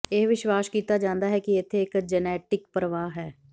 ਇਹ ਵਿਸ਼ਵਾਸ ਕੀਤਾ ਜਾਂਦਾ ਹੈ ਕਿ ਇੱਥੇ ਇੱਕ ਜੈਨੇਟਿਕ ਪ੍ਰਵਾਹ ਹੈ